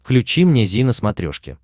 включи мне зи на смотрешке